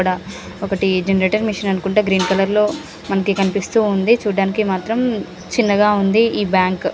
ఇక్కడ ఒకటి generator machine అనుకుంటా గ్రీన్ కలర్ లో మనకి కనిపిస్తుంది. చూడ్డానికి మాత్రం చిన్నగా ఉంది ఈ బ్యాంక్ .